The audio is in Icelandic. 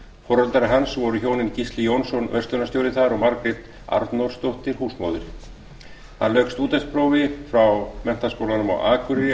foreldrar hans voru hjónin gísli jónsson verslunarstjóri þar og margrét arnórsdóttir húsmóðir hann lauk stúdentsprófi frá menntaskólanum á akureyri